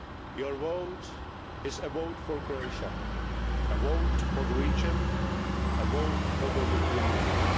Your vote is a vote for Croatia, a vote for the region, and a vote for the European Union.